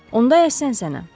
Onda ay sənsənəm.